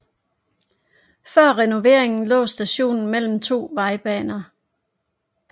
Før renoveringen lå stationen mellem to vejbaner